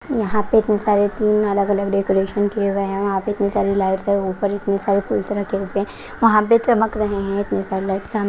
यहां पे इतने सारे तीन अलग-अलग डेकोरेशन किए हुए हैं वहां पे इतनी सारी लाइट्स है ऊपर इतने सारे फूल रखते हैं वहां पे चमक रहे हैं इतनी सारे लाइट्स .